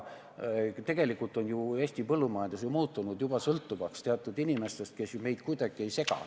Tegelikult on Eesti põllumajandus juba muutunud sõltuvaks teatud inimestest, kes meid kuidagi ei sega.